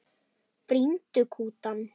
Brýndu kutann.